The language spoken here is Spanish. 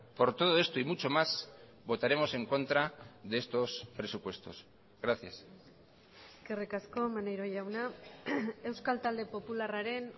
por todo esto y mucho más votaremos en contra de estos presupuestos gracias eskerrik asko maneiro jauna euskal talde popularraren